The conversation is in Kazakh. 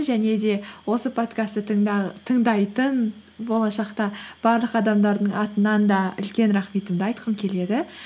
және де осы подкастты тыңдайтын болашақта барлық адамдардың атынан да үлкен рахметімді айтқым келеді